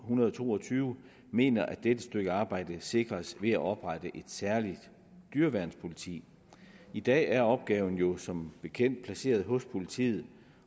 hundrede og to og tyve mener at dette stykke arbejde sikres ved at oprette et særligt dyreværnspoliti i dag er opgaven jo som bekendt placeret hos politiet